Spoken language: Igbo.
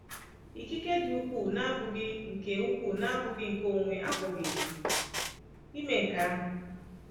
Ikike dị ukwuu na-abụghị nke ukwuu na-abụghị nke onwe apụghị ime nke ahụ.